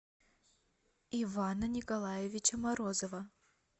ивана николаевича морозова